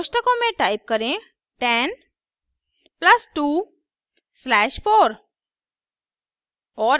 कोष्ठकों में टाइप करें 10 प्लस 2 स्लैश 4